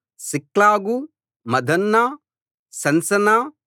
సిక్లగు మద్మన్నా సన్సన్నా